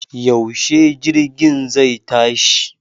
Yaushe jirgin zai tashi?